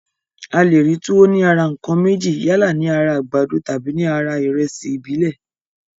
A le rí túwó ní ara ǹkan méjì, yálà ní ara àgbàdo tàbí ní ara ìrẹsì ìbílẹ̀